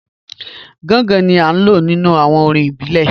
Gàngàn ni à lọ̀ nínu awọn orín ìbílẹ̀.